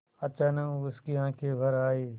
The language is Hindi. अचानक उसकी आँखें भर आईं